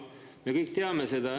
Me kõik teame seda.